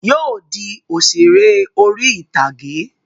Yóò di òṣèré orí ìtàgé